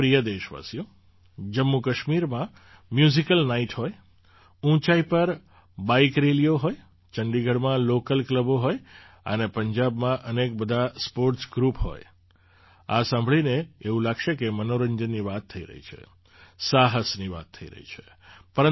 મારા પ્રિય દેશવાસીઓ જમ્મુકાશ્મીરમાં મ્યૂઝિકલ નાઇટ હોય ઊંચાઈ પર બાઇક રેલીઓ હોય ચંડીગઢમાં લૉકલ ક્લબો હોય અને પંજાબમાં અનેક બધાં સ્પૉર્ટ્સ ગ્રૂપો હોય આ સાંભળીને એવું લાગશે કે મનોરંજનની વાત થઈ રહી છે સાહસની વાત થઈ રહી છે